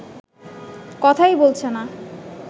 কথাই বলছে না